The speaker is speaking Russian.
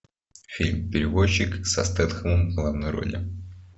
фильм перевозчик со стетхемом в главной роли